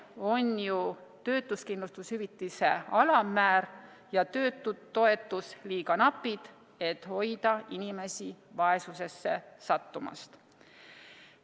On ju töötuskindlustushüvitise alammäär ja töötutoetus liiga napid, et hoida inimesi vaesusesse sattumast.